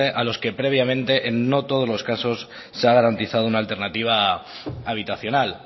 a los que previamente en no todos los casos se ha garantizado una alternativa habitacional